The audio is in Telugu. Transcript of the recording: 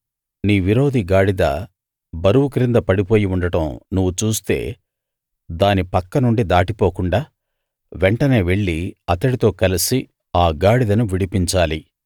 నీ విరోధి గాడిద బరువు క్రింద పడిపోయి ఉండడం నువ్వు చూస్తే దాని పక్కనుండి దాటిపోకుండా వెంటనే వెళ్లి అతడితో కలసి ఆ గాడిదను విడిపించాలి